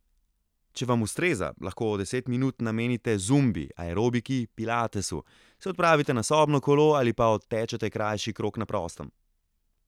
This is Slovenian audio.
Če vam ustreza, lahko deset minut namenite zumbi, aerobiki, pilatesu, se odpravite na sobno kolo ali pa odtečete krajši krog na prostem.